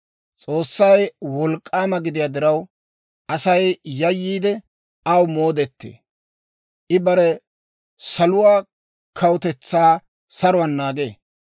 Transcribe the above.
«S'oossay wolk'k'aama gidiyaa diraw, Asay yayyiide, aw moodettee. I bare saluwaa kawutetsaa saruwaan naagee.